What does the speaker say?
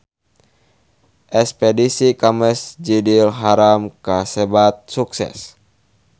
Espedisi ka Masjidil Haram kasebat sukses